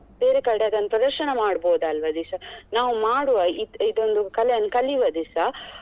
ಬೇರೆ ಕಡೆ ಅದನ್ ಪ್ರದರ್ಶನ ಮಾಡಬೋದು ಅಲ್ವಾ ದಿಶಾ ನಾವು ಮಾಡುವ ಇದೊಂದು ಕಲೆಯನ್ನು ಕಲಿವ ದಿಶಾ.